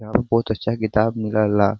यहाँ प बहुत अच्छा किताब मिलला ।